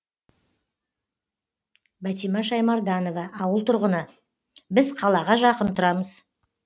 бәтимә шаймарданова ауыл тұрғыны біз қалаға жақын тұрамыз